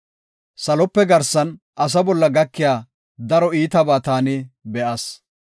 Salope garsan asa bolla gakiya daro iitabaa taani be7as.